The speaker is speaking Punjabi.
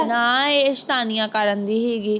ਨਾ ਇਹ ਸ਼ੈਤਾਨੀਆ ਕਰਨ ਦੀ ਸੀਗੀ